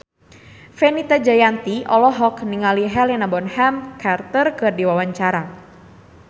Fenita Jayanti olohok ningali Helena Bonham Carter keur diwawancara